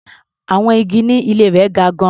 Àwọn igi ní ilé rẹ̀ ga gan-an.